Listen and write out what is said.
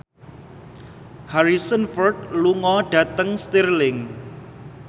Harrison Ford lunga dhateng Stirling